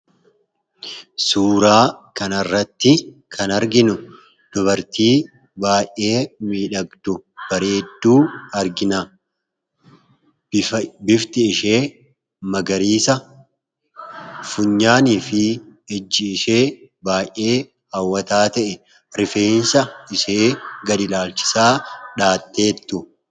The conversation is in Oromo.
Suuraa kana irratti kan arginuu dubarti baay'ee bareduu, midhagduu argina. Bifti ishee magarisaa, funyaan isheefi ijii ishee baay'ee hawwata ta'eedha. Rifeensa ishee gadii dhachisaa dhayaate jirtu.